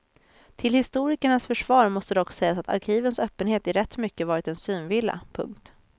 Till historikernas försvar måste dock sägas att arkivens öppenhet i rätt mycket varit en synvilla. punkt